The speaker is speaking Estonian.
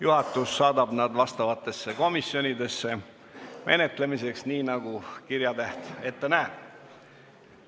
Juhatus saadab need asjaomastesse komisjonidesse menetlemiseks, nii nagu kirjatäht ette näeb.